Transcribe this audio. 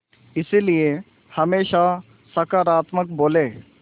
इसलिए हमेशा सकारात्मक बोलें